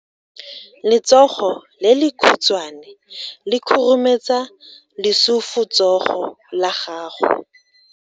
Letsogo le lekhutshwane le khurumetsa lesufutsogo la gago.